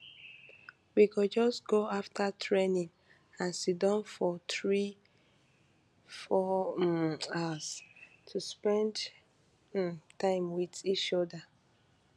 we go just go afta training and siddon for three four um hours to spend um time wit each oda